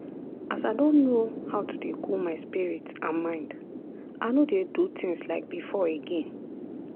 as i don know how to dey cool my spirit and mind i no dey do tins like before again.